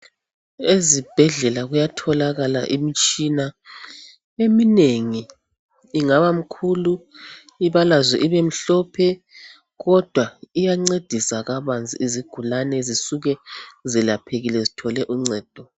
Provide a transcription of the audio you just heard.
Ezibhedlela kuyatholakala imitshina eminengi ingaba mikhulu ibalazwe ibemhlophe kodwa iyancedisa kabanzi izigulane zisuke zelaphekile zithole uncedo.